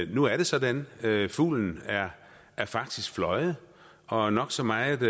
nu er det sådan fuglen er faktisk fløjet og nok så meget